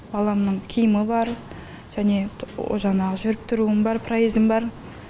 баламның киімі бар және жаңағы жүріп тұруым бар проезым бар